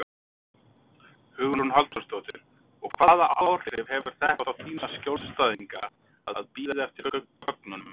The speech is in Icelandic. Hugrún Halldórsdóttir: Og hvaða áhrif hefur þetta á þína skjólstæðinga að bíða eftir gögnunum?